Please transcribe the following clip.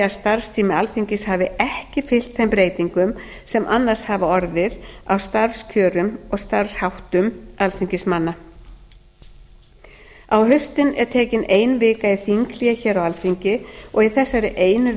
starfstími alþingis hafi ekki fylgt þeim breytingum sem annars hafa orðið á starfskjörum og starfsháttum alþingismanna á haustin er tekin ein vika í þinghlé hér á alþingi og í þessari einu